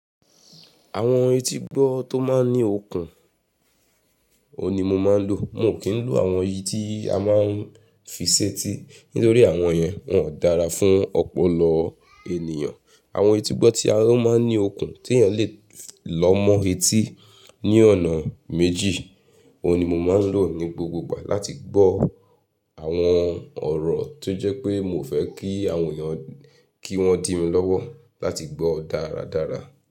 Àwọn etí gbọ́ tó máa ń ní okùn, òun ni mo máa ń lò. Mio kí ń lo àwọn eyí ti a máa ń fi ṣẹ́ti nítorí àwọn yẹn, wọn ò dára fún ọpọlọ ènìyàn. Àwọn tí gbọ́ tí won máa ń ní okùn tí èèyàn lè lọmọ etí ní ọ̀nà méjì, òun ni mo máa ń lò ní gbogbogbà láti gbọ́ àwọn ọ̀rọ̀ tó jẹ́ pé mi ò fẹ́ kí àwọn èèyàn kí wọ́n dìmi lọ́wọ́ láti gbọ́ dáradára.